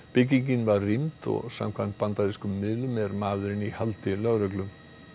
byggingin var rýmd og samkvæmt bandarískum miðlum er maðurinn í haldi lögreglu